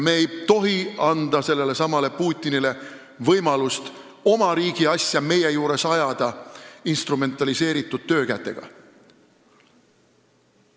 Me ei tohi anda sellelesamale Putinile võimalust oma riigi asja instrumentaliseeritud töökätega meie juures ajada.